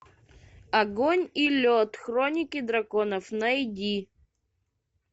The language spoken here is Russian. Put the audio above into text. огонь и лед хроники драконов найди